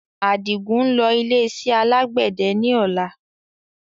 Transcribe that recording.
Adigun ń lọ ilé iṣẹ́ alàgbẹ̀dẹ ni ọ̀la